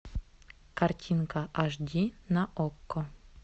картинка аш ди на окко